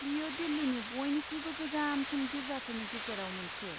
बेयो दिल्लीनि बयनिख्रुइबो गोजामसिन गिर्जाफोरनि गेजेराव मोनसे।